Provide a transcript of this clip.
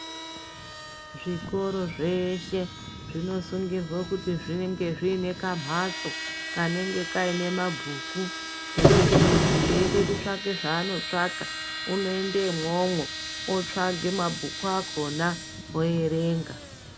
Zvikoro zveeshe, zvinosungirwe kuti zvinge zvine kamhatso kanonge kaine mabhuku ,ekuti munhu eide kutsvake zvaanotsvaka, unoende imwomwo, otsvake mabhuku akhona oerenga.